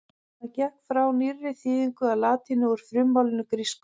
Hann gekk því frá nýrri þýðingu á latínu úr frummálinu grísku.